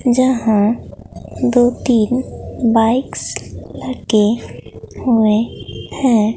यहां दो तीन बाइक्स रखे हुए हैं।